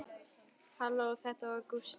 Halló, það var Gústi.